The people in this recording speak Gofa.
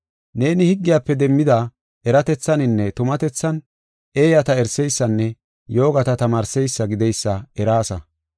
Neeni higgiyafe demmida eratethaninne tumatethan eeyata eriseysanne yoogata tamaarseysa gideysa eraasa.